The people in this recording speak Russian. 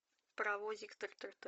паровозик тыр тыр тыр